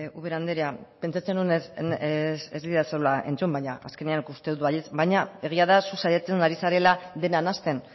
ubera andrea pentsatzen nuen ez didazula entzun baina azkenean ikusten dut baietz baina egia da zu saiatzen ari zarela dena nahasten